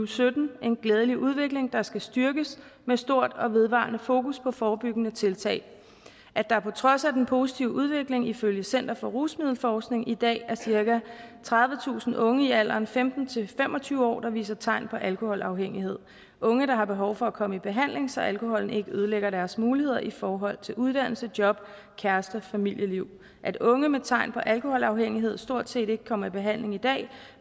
sytten en glædelig udvikling der skal styrkes med stort og vedvarende fokus på forebyggende tiltag at der på trods af den positive udvikling ifølge center for rusmiddelforskning i dag er cirka tredivetusind unge i alderen femten til fem og tyve år der viser tegn på alkoholafhængighed unge der har behov for at komme i behandling så alkoholen ikke ødelægger deres muligheder i forhold til uddannelse job kærester og familieliv at unge med tegn på alkoholafhængighed stort set ikke kommer i behandling i dag